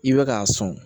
I bɛ k'a sɔn